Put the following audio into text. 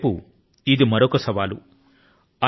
మరొక వైపు ఇది మరొక సవాలు